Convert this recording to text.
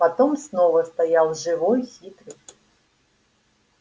потом снова стоял живой хитрый